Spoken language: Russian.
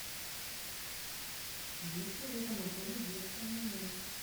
есть ли в этом отеле детское меню